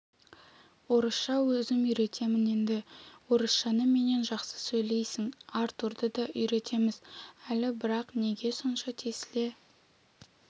орысша өзім үйретемін енді орысшаны менен жақсы сөйлейсің артурды да үйретеміз әлі бірақ неге сонша тесіле